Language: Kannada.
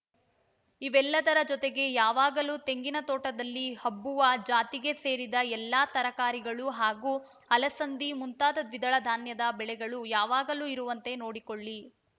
ಇವೆಲ್ಲದರ ಜೊತೆಗೆ ಯಾವಾಗಲೂ ತೆಂಗಿನ ತೋಟದಲ್ಲಿ ಹಬ್ಬುವ ಜಾತಿಗೆ ಸೇರಿದ ಎಲ್ಲ ತರಕಾರಿಗಳು ಹಾಗೂ ಅಲಸಂದಿ ಮುಂತಾದ ದ್ವಿದಳ ಧಾನ್ಯದ ಬೆಳೆಗಳು ಯಾವಾಗಲೂ ಇರುವಂತೆ ನೋಡಿಕೊಳ್ಳಿ